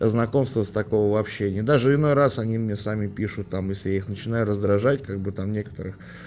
знакомство с такого вообще и даже иной раз они мне сами пишут там если их начинали раздражать как бы там некоторых